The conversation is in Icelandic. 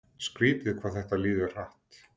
Skrítið hvað þetta líður hratt.